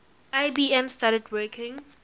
ibm started working